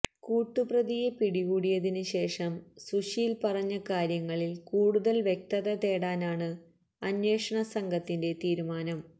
കൂട്ടുപ്രതിയെ പിടികൂടിയതിന് ശേഷം സുശീല് പറഞ്ഞ കാര്യങ്ങളില് കൂടുതല് വ്യക്തത തേടാനാണ് അന്വേഷണ സംഘത്തിന്റെ തീരുമാനം